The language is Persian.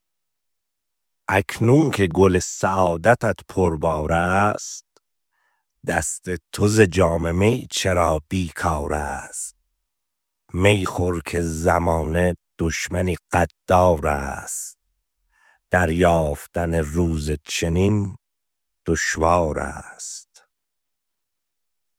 اکنون که گل سعادتت پربار است دست تو ز جام می چرا بیکار است می خور که زمانه دشمنی غدار است دریافتن روز چنین دشوار است